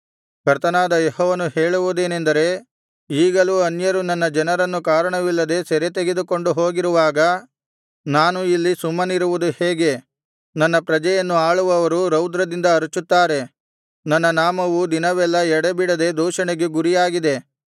ಕರ್ತನಾದ ಯೆಹೋವನು ಹೇಳುವುದೇನೆಂದರೆ ಈಗಲೂ ಅನ್ಯರು ನನ್ನ ಜನರನ್ನು ಕಾರಣವಿಲ್ಲದೆ ಸೆರೆತೆಗೆದುಕೊಂಡು ಹೋಗಿರುವಾಗ ನಾನು ಇಲ್ಲಿ ಸುಮ್ಮನಿರುವುದು ಹೇಗೆ ನನ್ನ ಪ್ರಜೆಯನ್ನು ಆಳುವವರು ರೌದ್ರದಿಂದ ಅರಚುತ್ತಾರೆ ನನ್ನ ನಾಮವು ದಿನವೆಲ್ಲಾ ಎಡೆಬಿಡದೆ ದೂಷಣೆಗೆ ಗುರಿಯಾಗಿದೆ